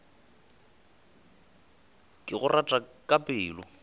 ke go rata ka pelo